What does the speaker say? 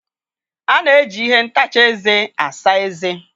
A na-eji ihe ntacha eze asa eze.